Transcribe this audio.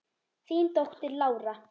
Þín dóttir, Lára.